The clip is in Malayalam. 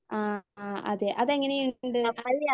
ആഹ് ആ അതെ അതെങ്ങനെയുണ്ട്?